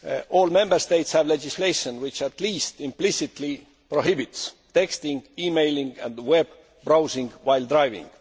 All Member States have legislation which, at least implicitly, prohibits texting, e mailing and web browsing while driving.